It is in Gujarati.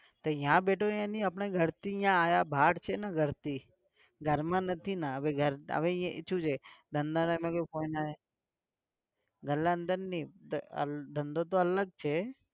ત્યાં બેઠો એની આપણાં ઘરથી ના અહીંયા બાર છે ને ઘરથી, ઘર માં નથી ના. હવે એ શું છે ધંધો ગલ્લાની અંદર નહિ ધંધો તો અલગ છે.